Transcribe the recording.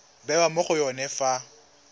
bewa mo go yone fa